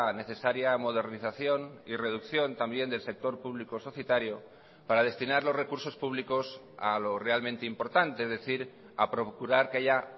necesaria modernización y reducción también del sector público societario para destinar los recursos públicos a lo realmente importante es decir a procurar que haya